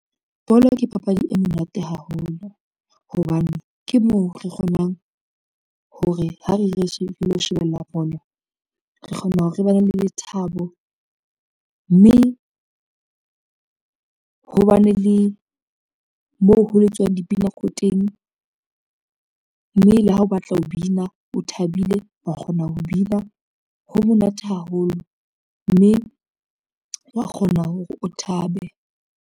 Bolo ke papadi e monate haholo hobane ke moo re kgonang ho re ha re re lo shebella bolo re kgona hore re bane le lethabo, mme ho bane le moo ho le tswang dipina ko teng, mme le ha o batla ho bina, o thabile, wa kgona ho bina ha monate haholo, mme wa kgona hore o thabe.